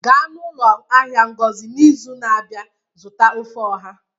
gaa n'ụlọ ahịa ngozi n'izu na-abịa zụta ofe oha